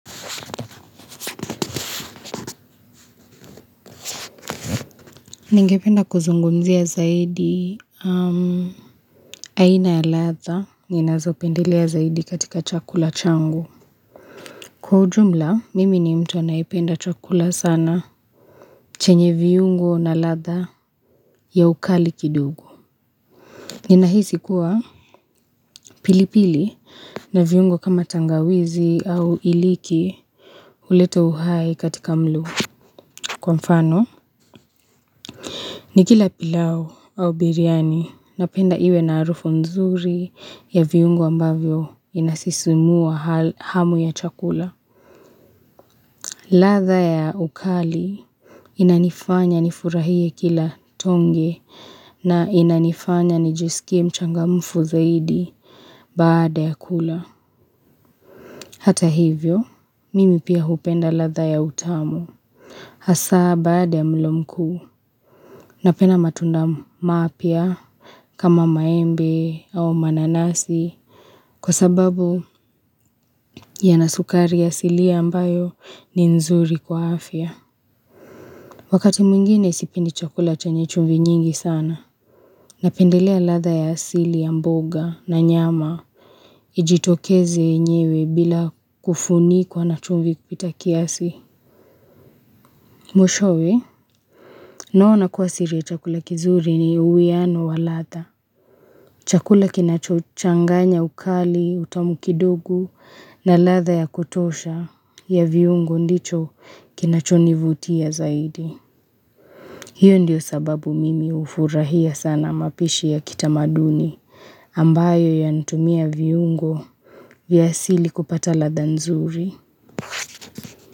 Ningependa kuzungumzia zaidi, aina ya ladha, ninazopendelea zaidi katika chakula changu. Kwa ujumla, mimi ni mtu anayependa chakula sana, chenye viungo na ladha ya ukali kidogo. Ninahisi kuwa pilipili na viungo kama tangawizi au iliki, huleta uhai katika mlo. Kwa mfano, nikila pilau au biryani, napenda iwe na harufu nzuri ya viungo ambavyo inasisimua hamu ya chakula ladha ya ukali, inanifanya nifurahie kila tonge na inanifanya nijisikie mchangamfu zaidi baada ya kula Hata hivyo, mimi pia hupenda ladha ya utamu Hasa baada ya mlo mkuu, napenda matunda mapya kama maembe au mananasi, kwa sababu yana sukari asilia ambayo ni nzuri kwa afya. Wakati mwingine sipendi chakula chenye chumvi nyingi sana, napendelea ladha ya asili ya mboga na nyama, ijitokeze yenyewe bila kufunikwa na chumvi kupita kiasi. Mwishowe, naona kuwa siri ya chakula kizuri ni uwiano wa ladha. Chakula kinachochanganya ukali, utamu kidogo na ladha ya kutosha ya viungo ndicho kinachonivutia zaidi. Hiyo ndio sababu mimi hufurahia sana mapishi ya kitamaduni ambayo yantumia viungo vya asili kupata ladha nzuri.